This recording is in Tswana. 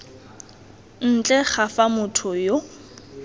ntle ga fa motho yo